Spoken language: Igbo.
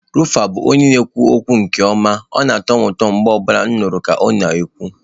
Rufai bụ onye na-ekwu okwu nke ọma, ọ na-atọ m ụtọ mgbe ọ bụla m nụrụ ka ọ na-ekwu.